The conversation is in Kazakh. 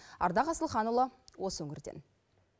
ардақ асылханұлы осы өңірден